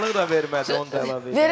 Qulaqlıq da vermədi, onu da əlavə edək.